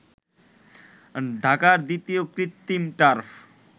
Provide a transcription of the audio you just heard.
ঢাকার দ্বিতীয় কৃত্রিম টার্ফ